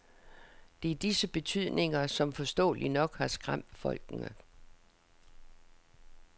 Det er disse betydninger, som forståeligt nok har skræmt folkene.